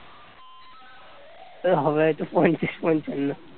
হবে হয়তো পঞ্চাশ -পঞ্চান্ন